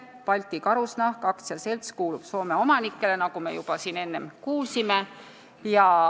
Balti Karusnahk AS kuulub Soome omanikele, nagu me juba siin kuulsime.